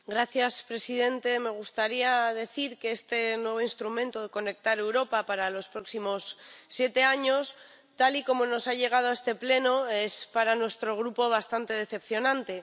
Señor presidente, me gustaría decir que este nuevo Mecanismo Conectar Europa para los próximos siete años, tal y como nos ha llegado a este Pleno, es para nuestro Grupo bastante decepcionante.